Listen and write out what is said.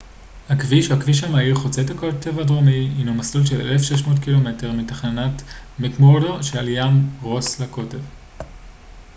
"הכביש או הכביש המהיר חוצה הקוטב הדרומי הינו מסלול של 1600 ק""מ מתחנת מקמורדו mcmurdo שעל ים רוס לקוטב.